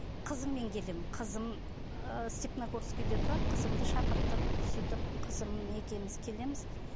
қызыммен келемін қызым і степногорскийде тұрады қызымды шақыртып сөйтіп қызым екеуміз келеміз